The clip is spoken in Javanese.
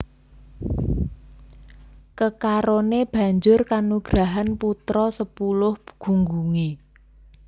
Kekaroné banjur kanugrahan putra sepuluh gunggungé